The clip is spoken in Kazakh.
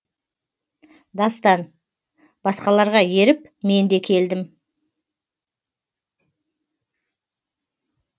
дастан басқаларға еріп мен де келдім